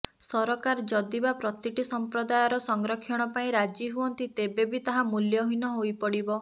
ସରକାର ଯଦିବା ପ୍ରତିଟି ସମ୍ପ୍ରଦାୟର ସଂରକ୍ଷଣ ପାଇଁ ରାଜି ହୁଅନ୍ତି ତେବେ ବି ତାହା ମୂଲ୍ୟହୀନ ହୋଇପଡ଼ିବ